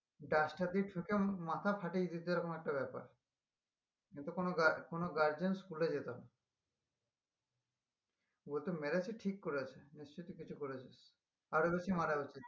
Duster দিয়ে ঠুকে মাথা ফাঠিয়ে দিতো এরকম একটা ব্যাপার কিন্তু কোনো গার কোনো guardian school এ যেত না বলতো মেরেছে ঠিক করেছে নিশ্চই তুই কিছু করেছিস আরো বেশি মারা উচিত